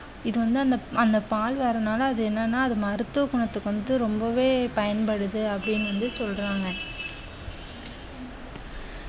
இது வந்து அந்த அந்த பால் வரனால அது என்னன்னா அது மருத்துவ குணத்துக்கு வந்துட்டு ரொம்பவே பயன்படுது அப்படின்னு வந்து சொல்றாங்க